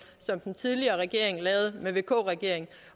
som den tidligere regering lavede med vk regeringen